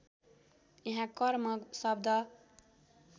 यहाँ कर्म शब्द